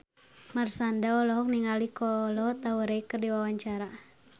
Marshanda olohok ningali Kolo Taure keur diwawancara